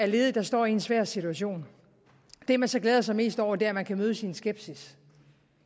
ledige der står i en svær situation det man så glæder sig mest over er at man kan mødes i en skepsis